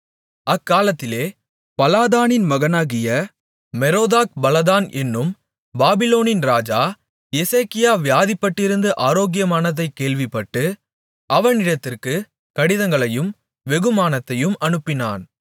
அக்காலத்திலே பலாதானின் மகனாகிய மெரோதாக்பலாதான் என்னும் பாபிலோனின் ராஜா எசேக்கியா வியாதிப்பட்டிருந்து ஆரோக்கியமானதைக் கேள்விப்பட்டு அவனிடத்திற்கு கடிதங்களையும் வெகுமானத்தையும் அனுப்பினான்